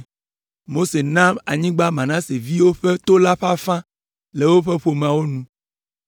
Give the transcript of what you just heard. Mose na anyigba Manase viwo ƒe to la ƒe afã le woƒe ƒomewo nu.